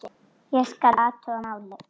Ég skal athuga málið